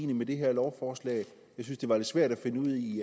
med det her lovforslag jeg synes det var lidt svært at finde ud af i